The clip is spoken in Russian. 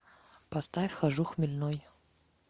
поставь хожу хмельной